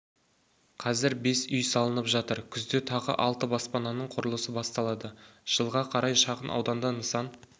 қазір бес үй салынып жатыр күзде тағы алты баспананың құрылысы басталады жылға қарай шағын ауданда нысан